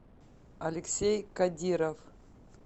алексей кадиров